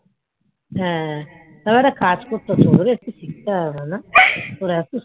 হ্যাঁ একটু শিখতে হবে